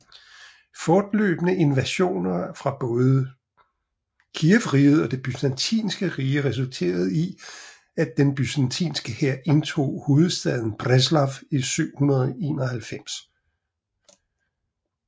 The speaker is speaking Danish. Fortløbende invasioner fra både Kijevriget og det Byzantinske Rige resulterede i at den byzantinske hær indtog hovedstaden Preslav i 971